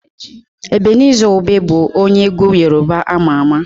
Ebeniza Obe bụ onye egwu Yorùbá ama ama.